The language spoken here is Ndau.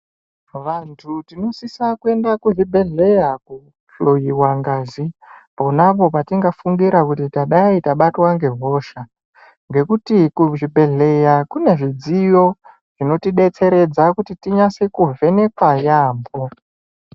Vantu tinosisa kuenda kuzvibhedhleya kohloiwa ngazi, pona apo patingafungira kuti tadai tabatwa ngehosha, ngekuti kuzvibhedhleya kune zvidziyo zvinotidetseredza kuti tinyase kuvhenekwa yaampho.